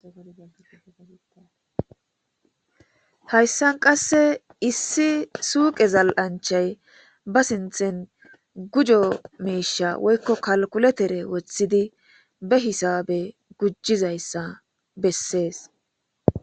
Hayssan qasse issi suuqe zal,anchay ba sinthen gujo miisha woykko kalkuletere woththidi be hisabe gujizayssa bessees.